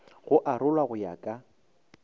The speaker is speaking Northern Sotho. go arolwa go ya ka